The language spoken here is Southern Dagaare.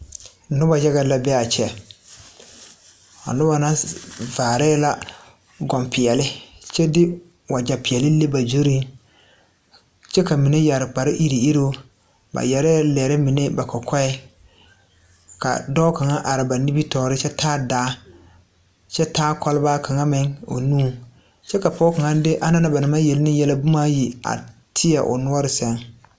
Noba yaga la bee aa kyɛ a noba na vaare la kɔŋpeɛɛle kyɛ de wagyɛ peɛɛle le ba zurreŋ kyɛ ka mine yɛre kpare iruŋiruŋ ba yɛrɛɛ lɛre mine ba kɔkɔɛŋ ka dɔɔ kaŋa are ba nimitoore kyɛ taa daa kyɛ taa kɔlbaa kaŋa meŋ o nuŋ kyɛ ka pɔg kaŋa fe anaŋ na ba naŋ maŋ yele ne yɛlɛ bomaa ayi a tēɛ o noɔre sɛŋ.